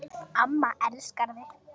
Amma elskar þig